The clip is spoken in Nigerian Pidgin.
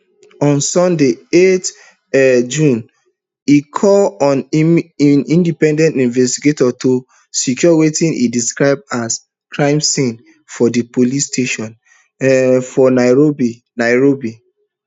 on sunday eight um june e call on independent investigators to secure wetin e describe as di crime scene for di police station um for nairobi nairobi